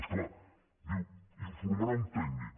és clar diu informarà un tècnic